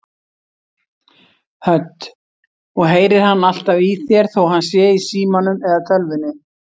Hödd: Og heyrir hann alltaf í þér þó hann sé í símanum eða tölvunni?